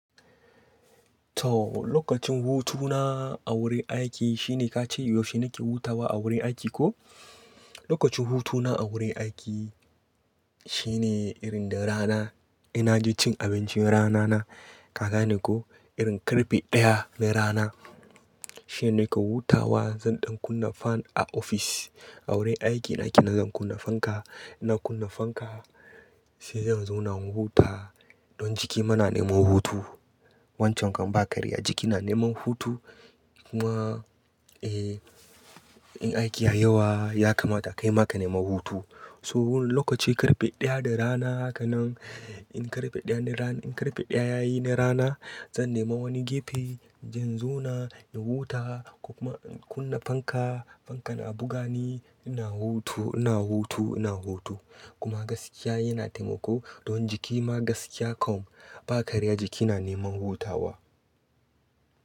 To, lokacin hutuna a wurin aiki shine ka ce, yaushe nake hutawa a wurin aiki ko? Lokacin hutuna a wurin aiki shine irin da rana ina je cin abincin rana na. Kaga ne ko, irin karfe ɗaya na rana shine nake hutawa. Zan ɗan kunna fan a ofis. A wurin aiki nake na zan kunna fanka. Ina kunna fanka sai zan zauna in huta. Don jiki ma na neman hutu. Wancan kan ba karya jiki na neman hutu. Kuma, eh, in aiki ya yawa ya kamata kaima ka nema hutu. So lokaci karfe ɗaya da rana hakanen, in karfe ɗaya da rana, in karfe ɗaya yayi na rana zan nema wani gefe, zan zauna in huta ko kuma in kunna fanka. Fankan a buga ni ina hutu, ina hutu, ina hutu. Kuma gaskiya yana taimako don jiki ma gaskiya kam ba karya jiki na neman hutawa.